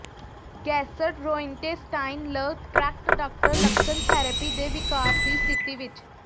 gastrointestinal tract doctor ਲੱਛਣ therapy ਦੇ ਿਵਕਾਰ ਦੀ ਸਥਿਤੀ ਵਿੱਚ